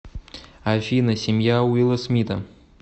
афина семья уилла смита